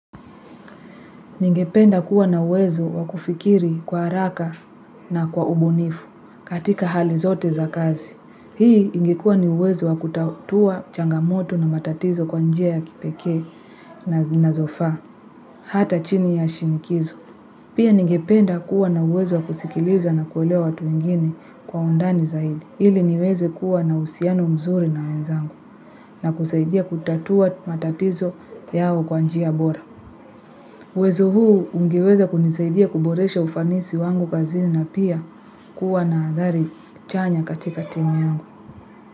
Ningependa kuwa na uwezo wa kufikiri kwa haraka na kwa ubunifu katika hali zote za kazi. Hii ingekua ni uwezo wa kutatua changamoto na matatizo kwa njia ya kipekee na zinazofaa. Hata chini ya shinikizo. Pia ningependa kuwa na uwezo wa kusikiliza na kuelewa watu wengini kwa undani zaidi. Ili niweze kuwa na uhusiano mzuri na wenzangu na kusaidia kutatua matatizo yao kwa njia bora. Uwezo huu ungeweza kunisaidia kuboresha ufanisi wangu kazini na pia kuwa na athari chanya katika timu yangu.